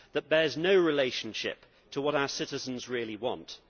It bears no relationship to what our citizens really want.